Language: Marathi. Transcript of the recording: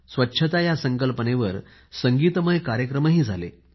स्वच्छता या संकल्पनेवर संगीतमय कार्यक्रमही झाला